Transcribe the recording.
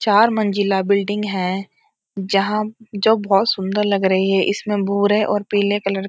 चार मंजिला बिल्डिंग है जहाँ जो बहोत सुन्दर लग रही है इसमें भूरे और पीले कलर --